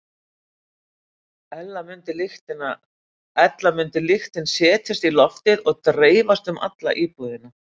Ella mundi lyktin setjast í loftið og dreifast um alla íbúðina.